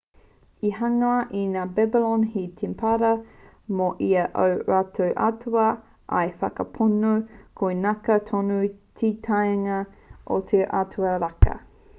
i hangaia e ngā babylon he temepara mō ia o ō rātou atua ā i whakapono koinaka tonu te kāinga o te atua raka